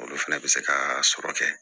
Olu fɛnɛ bɛ se ka sɔrɔ kɛ